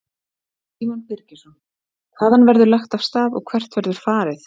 Símon Birgisson: Hvaðan verður lagt af stað og hvert verður farið?